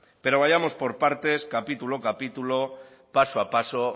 pero vayamos por partes capítulo a capítulo paso a paso